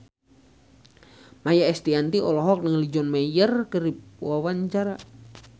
Maia Estianty olohok ningali John Mayer keur diwawancara